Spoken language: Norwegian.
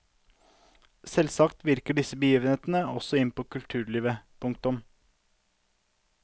Selvsagt virket disse begivenhetene også inn på kulturlivet. punktum